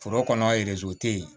Foro kɔnɔ a tɛ yen